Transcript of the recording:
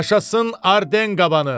Yaşasın Arden qabanı!